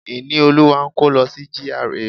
Ìníolúwa ń kó lọ sí GRA.